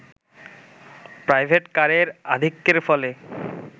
private কারের আধিক্যের ফলে